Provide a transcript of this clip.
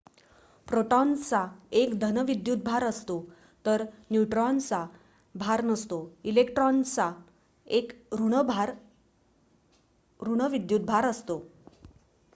प्रोटॉन्सचा एक धन विद्युत भार असतो तर न्यूट्रॉन्सचा भार नसतो इलेक्ट्रॉन्सचा एक ऋण विद्युत भार असतो